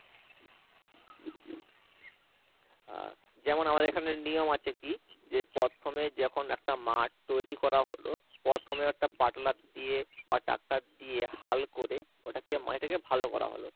আহ যেমন আমাদের এখানে নিয়ম আছে কি যে প্রথমে যখন একটা মাঠ তৈরী করা হলো প্রথমে একটা পাটলার দিয়ে বা tractor দিয়ে হাল করে ওটাকে মাটিটাকে ভালো করা হলো,